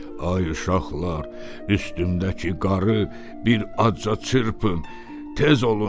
Ay uşaqlar, üstümdəki qarı bir azca çırpın, tez olun.